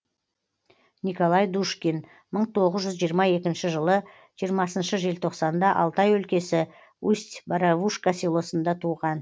николай душкин мың тоғыз жүз жиырма екінші жылы жиырмасыншы желтоқсанда алтай өлкесі усть боровушка селосында туған